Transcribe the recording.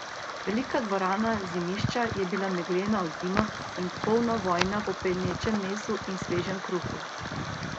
Velika dvorana Zimišča je bila meglena od dima in polna vonja po pečenem mesu in svežem kruhu.